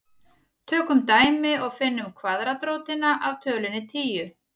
Tökum dæmi og finnum kvaðratrótina af tölunni tíu.